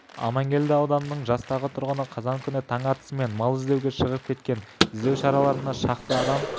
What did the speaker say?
аманкелді ауданының жастағы тұрғыны қазан күні таң атысымен мал іздеуге шығып кеткен іздеу шараларына шақты адам